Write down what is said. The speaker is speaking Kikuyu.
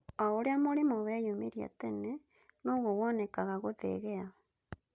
O ũrĩa mũrimũ weyumĩria tene, noguo wonekaga gũthegea